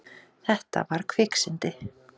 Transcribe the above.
Þetta var kviksyndi.